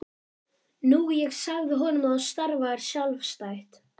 Nú ég sagði honum að þú starfaðir sjálfstætt.